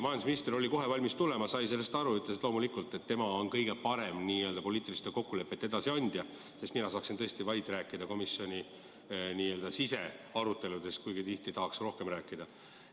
Majandusminister oli täna kohe valmis siia tulema, ta sai sellest aru ja ütles, et loomulikult on tema kõige parem poliitiliste kokkulepete edasiandja, sest mina saaksin tõesti rääkida vaid komisjoni sisearuteludest, kuigi tihti tahaksin rääkida rohkemast.